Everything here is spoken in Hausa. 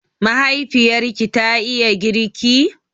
Mahaifiyarki ta iya girki?